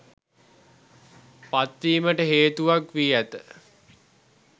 පත්වීමට හේතුවක් වී ඇත.